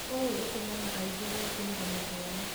ũũ ũtũmaga aingĩ gũĩtigĩra mathomo.